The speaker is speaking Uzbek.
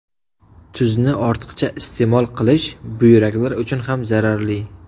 Tuzni ortiqcha iste’mol qilish buyraklar uchun ham zararli.